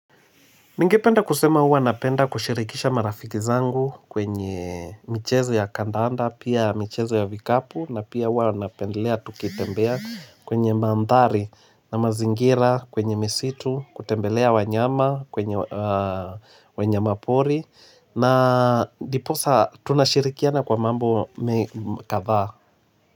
Ningependa kusema uwa napenda kushirikisha marafiki zangu kwenye michezo ya kandaanda pia michezo ya vikapu na pia uwa napendelea tukitembea kwenye mandhari na mazingira kwenye misitu kutembelea wanyama kwenye wanyama pori na ndiposa tunashirikiana kwa mambo kadhaa.